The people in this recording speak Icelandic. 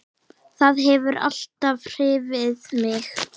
Það hefur alltaf hrifið mig.